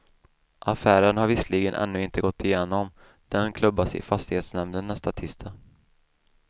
Affären har visserligen ännu inte gått igenom, den klubbas i fastighetsnämnden nästa tisdag.